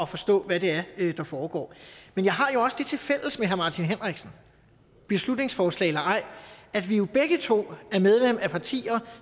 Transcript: forstå hvad det er der foregår men jeg har jo også det tilfælles med herre martin henriksen beslutningsforslag eller ej at vi begge to er medlem af partier